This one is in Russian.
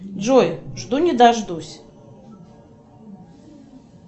джой жду не дождусь